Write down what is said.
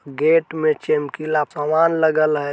गेट में चमकीला सामान लगल हय।